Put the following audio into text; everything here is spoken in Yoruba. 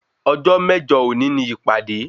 Ọjọ́ mẹ́jọ òní ni ìpàdé